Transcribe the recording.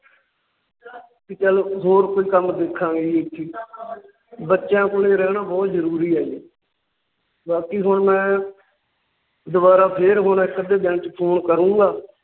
ਚੱਲ ਹੋਰ ਕੋਈ ਕੰਮ ਦੇਖਾਂਗੇ ਜੀ। ਬੱਚਿਆਂ ਕੋਲੇ ਰਹਿਣਾ ਬਹੁਤ ਜਰੂਰੁ ਹੈ ਜੀ। ਬਾਕੀ ਹੁਣ ਮੈ ਦੁਬਾਰਾ ਫਿਰ ਹੁਣ ਇੱਕ ਅੱਧੇ ਦਿਨ ਚ Phone ਕਰੂੰਗਾ